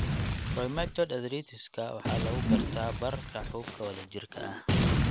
Rheumatoid arthritis-ka waxaa lagu gartaa bararka xuubka wadajirka ah.